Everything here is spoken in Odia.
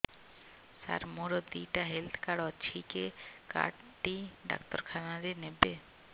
ସାର ମୋର ଦିଇଟା ହେଲ୍ଥ କାର୍ଡ ଅଛି କେ କାର୍ଡ ଟି ଡାକ୍ତରଖାନା ରେ ନେବେ